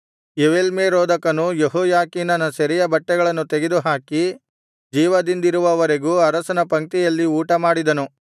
ಎವೀಲ್ಮೆರೋದಕನು ಯೆಹೋಯಾಖೀನನ ಸೆರೆಯ ಬಟ್ಟೆಗಳನ್ನು ತೆಗೆದುಹಾಕಿ ಜೀವದಿಂದಿರುವವರೆಗೂ ಅರಸನ ಪಂಕ್ತಿಯಲ್ಲಿ ಊಟಮಾಡಿದನು